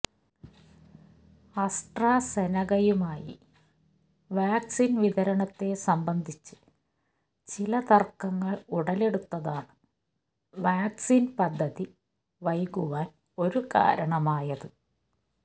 അസട്രസെനെകയുമായി vaccine വിതരണത്തെ സംബന്ധിച്ച് ചില തർക്കങ്ങൾ ഉടലെടുത്തതാണ് വാക്സിൻ പദ്ധതി വൈകുവാൻ ഒരു കാരണമായത്